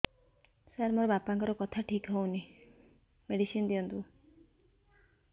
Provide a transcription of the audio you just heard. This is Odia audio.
ସାର ମୋର ବାପାଙ୍କର କଥା ଠିକ ହଉନି ମେଡିସିନ ଦିଅନ୍ତୁ